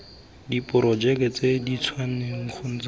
diporojeke tse dintšhwa kgotsa tse